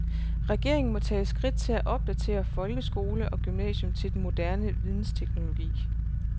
Regeringen må tage skridt til at opdatere folkeskole og gymnasium til den moderne vidensteknologi.